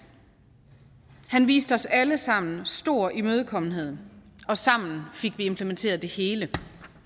han viste os alle sammen stor imødekommenhed og sammen fik vi implementeret det hele